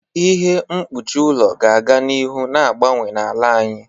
Ihe mkpuchi ụlọ ga-aga n'ihu na-agbanwe n'ala anyị.